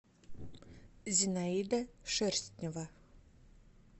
зинаида шерстнева